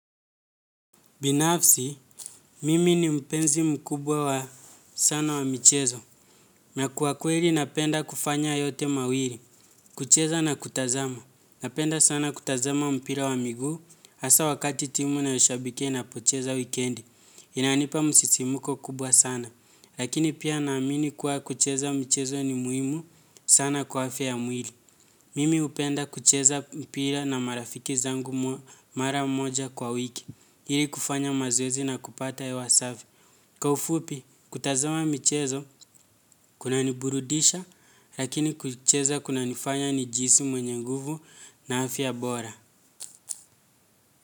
Binafsi, mimi ni mpenzi mkubwa wa sana wa michezo. Na kwa kweli napenda kufanya yote mawiri, kucheza na kutazama. Napenda sana kutazama mpira wa miguu, asaa wakati timu nayoshabikia inapocheza wikendi. Inanipa msisimuko kubwa sana. Lakini pia naamini kuwa kucheza michezo ni muimu sana kwa afya ya mwili. Mimi hupenda kucheza mpira na marafiki zangu mara moja kwa wiki. Ili kufanya mazoezi na kupata hewa safi. Kwa ufupi, kutazama michezo, kunaniburudisha, lakini kucheza kunanifanya nijihisi mwenye nguvu na afya bora.